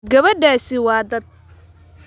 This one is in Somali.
Gabadhaasi waa da'da.